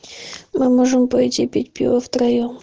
мы можем пойти пить пиво в троем